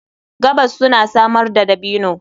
Gabas suna samar da dabino.